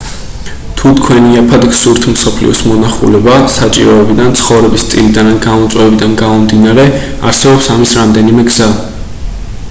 თუ თქვენ იაფად გსურთ მსოფლიოს მონახულება საჭიროებიდან ცხოვრების სტილიდან ან გამოწვევებიდან გამომდინარე არსებობს ამის რამდენიმე გზა